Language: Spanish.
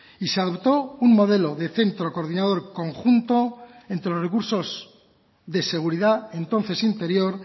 y se adoptó un modelo de centro coordinador conjunto entre los recursos de seguridad entonces interior